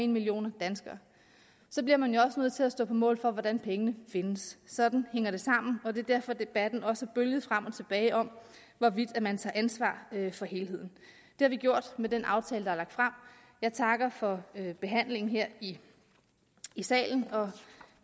millioner danskere bliver man jo også nødt til at stå på mål for hvordan pengene findes sådan hænger det sammen og det er derfor debatten også har bølget frem og tilbage om hvorvidt man tager ansvar for helheden det har vi gjort med den aftale der er lagt frem jeg takker for behandlingen her i salen og